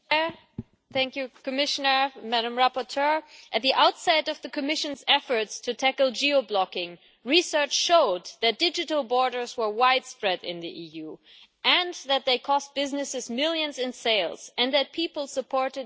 Mr President, at the outset of the Commission's efforts to tackle geo-blocking, research showed that digital borders were widespread in the EU, that they cost businesses millions in sales and that people supported decisive action against them.